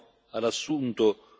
ci sono risultati evidenti.